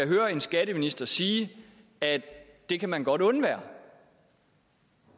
høre en skatteminister sige at det kan man godt undvære